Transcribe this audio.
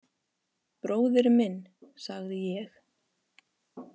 Bróðir minn, sagði ég.